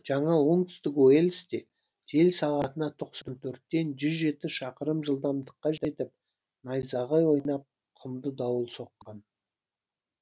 жаңа оңтүстік уэльсте жел сағатына тоқсан төрттен жүз жеті шақырым жылдамдыққа жетіп найзағай ойнап құмды дауыл соққан